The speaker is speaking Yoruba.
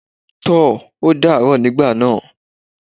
Tò, ó dàá rọ̀ nígbà náà.